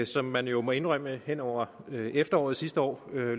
som man jo må indrømme hen over efteråret sidste år